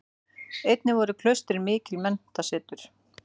Einnig voru klaustrin mikil menntasetur.